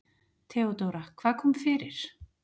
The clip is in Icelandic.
THEODÓRA: Hvað kom fyrir?